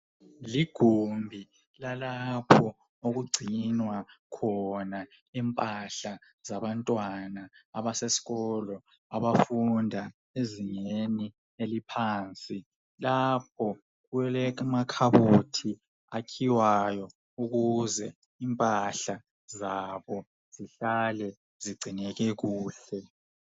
Ligumbi lalapho okugcinwa khona impahla zabantwana abasesikolo abafunda ezingeni eliphansi lapho kulamakhabothi akhiywayo ukuze impahla zabo zihlale zigcineke kuhle.